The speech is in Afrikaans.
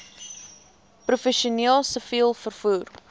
professioneel siviel vervoer